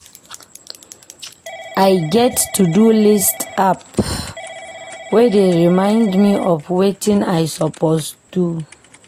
I get Todo list app wey dey remind me of wetin I suppose do.